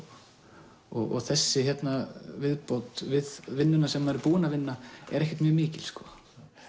og þessi hérna viðbót við vinnuna sem maður er búinn að vinna er ekkert mjög mikil sko